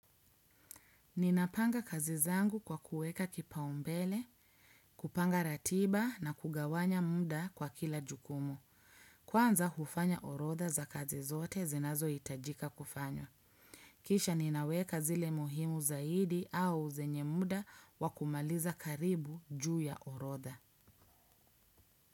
Ninapanga kazi zangu kwa kuweka kipaumbele, kupanga ratiba na kugawanya muda kwa kila jukumu. Kwanza hufanya orodha za kazi zote zinazohitajika kufanywa. Kisha ninaweka zile muhimu zaidi au zenye muda wa kumaliza karibu juu ya orodha.